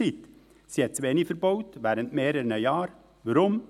Sie hat während mehreren Jahren zu wenig verbaut.